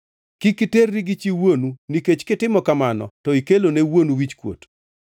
“ ‘Kik iterri gi chi wuonu, nikech kitimo kamano to ikelone wuonu wichkuot.